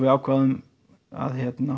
ákváðum að